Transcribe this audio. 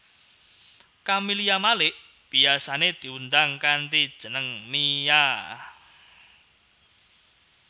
Camelia Malik biyasané diundang kanthi jeneng Mia